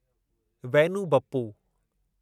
Vainu Bappu